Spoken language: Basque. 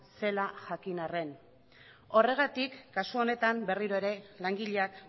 zela jakin arren horregatik kasu honetan berriro ere langileak